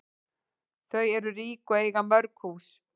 Þau eru rík og eiga mörg hús.